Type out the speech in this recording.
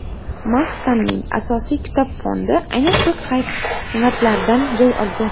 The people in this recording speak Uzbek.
Maskanning asosiy kitob fondi aynan shu qavatlardan joy olgan.